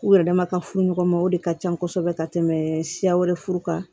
U yɛrɛ dama ka furu ɲɔgɔn ma o de ka ca kosɛbɛ ka tɛmɛ siya wɛrɛ furu kan